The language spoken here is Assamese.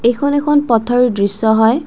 এইখন এখন পথৰ দৃশ্য হয়।